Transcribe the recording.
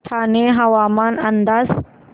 ठाणे हवामान अंदाज